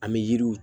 An bɛ yiriw